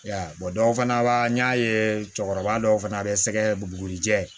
Ya dɔw fana b'a n y'a ye cɛkɔrɔba dɔw fana bɛ sɛgɛ bugurijɛ